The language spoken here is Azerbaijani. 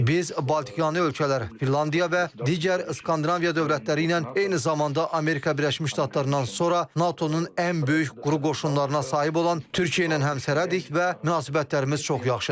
Biz Baltikyanı ölkələr, Finlandiya və digər Skandinaviya dövlətləri ilə eyni zamanda Amerika Birləşmiş Ştatlarından sonra NATO-nun ən böyük quru qoşunlarına sahib olan Türkiyə ilə həmsərhəddik və münasibətlərimiz çox yaxşıdır.